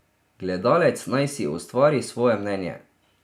Gledalec naj si ustvari svoje mnenje.